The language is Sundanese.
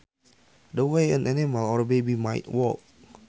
The way an animal or baby might walk